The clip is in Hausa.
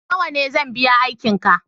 nawa ne zan biya aiki ka